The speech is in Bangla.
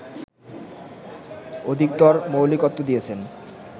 অধিকতর মৌলিকত্ব দিয়েছেন